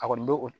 A kɔni bɛ